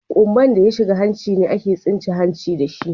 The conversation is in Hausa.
Kumba'n da ya shiga hanci ne ake tsince hancin da shi.